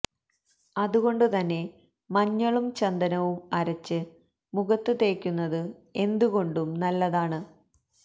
അതുകൊണ്ട് തന്നെ മഞ്ഞളും ചന്ദനവും അരച്ച് മുഖത്ത് തേക്കുന്നത് എന്തുകൊണ്ടും നല്ലതാണ്